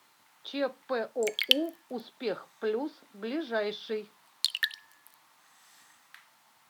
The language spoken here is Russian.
чпоу успех плюс ближайший